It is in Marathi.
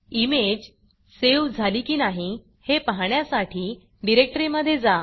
इमेज सेव्ह झाली की नाही हे पाहण्यासाठी डिरेक्टरीमधे जा